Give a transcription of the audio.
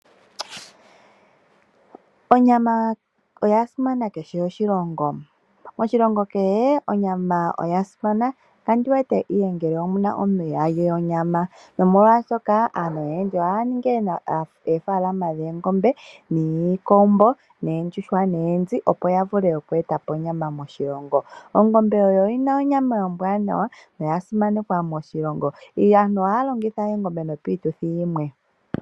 Onyama oya simana moshilongo kehe nokandi wete ngele opu na omuntu ihaa li onyama, nomolwashika aantu oyendji ohaya ningi oofaalama dhoongombe, iikombo, oondjuhwa noonzi, opo ya vule okueta po onyama moshilongo. Ongombe oyi na onyama ombwaanawa noya simanekwa moshilongo. Aantu ohaya longitha oongombe piituthi yimwe.